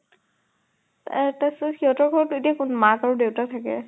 তাৰ তাৰচ্ত সিহঁতৰ ঘৰত এতিয়া কোন মাক আৰু দেউতাক থাকে?